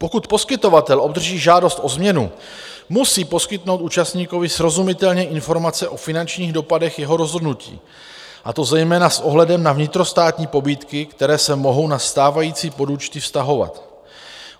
Pokud poskytovatel obdrží žádost o změnu, musí poskytnout účastníkovi srozumitelně informace o finančních dopadech jeho rozhodnutí, a to zejména s ohledem na vnitrostátní pobídky, které se mohou na stávající podúčty vztahovat.